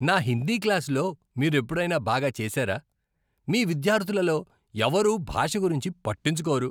నా హిందీ క్లాస్లో మీరు ఎప్పుడైనా బాగా చేశారా? మీ విద్యార్థులలో ఎవరూ భాష గురించి పట్టించుకోరు.